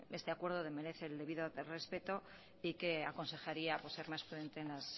este acuerdo desmerece el debido respeto y que aconsejaría pues ser más prudente